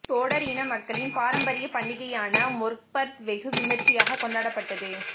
தோடர் இன மக்களின் பாரம்பரிய பண்டிகையான மொற்பர்த் வெகு விமர்சியாக கொண்டாடப்பட்டது